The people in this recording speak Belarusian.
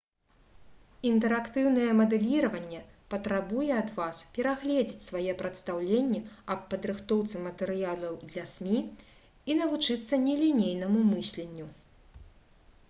інтэрактыўнае мадэліраванне патрабуе ад вас перагледзець свае прадстаўленні аб падрыхтоўцы матэрыялаў для смі і навучыцца нелінейнаму мысленню